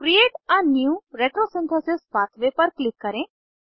create a new retrosynthesis pathway पर click करें